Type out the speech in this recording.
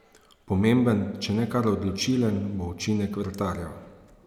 Pomemben, če ne kar odločilen, bo učinek vratarjev.